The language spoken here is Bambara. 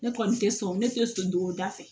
Ne kɔni tɛ sɔn ne tɛ sɔn don o da fɛ